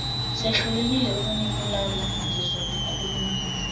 sehlulekile ukunibulala ngizonikhulula